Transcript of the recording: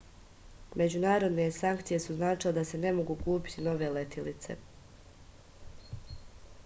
međunarodne sankcije su značile da se ne mogu kupiti nove letelice